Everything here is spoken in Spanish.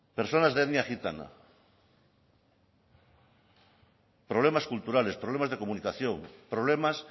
personas de etnia gitana problemas culturales problemas de comunicación problemas